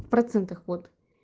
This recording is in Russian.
в процентах вот